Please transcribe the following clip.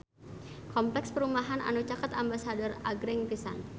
Kompleks perumahan anu caket Ambasador agreng pisan